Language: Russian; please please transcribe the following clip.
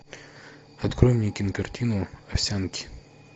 открой мне кинокартину овсянки